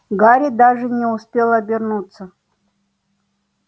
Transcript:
гарри даже не успел обернуться